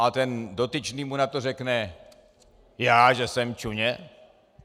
A ten dotyčný mu na to řekne: Já že jsem čuně?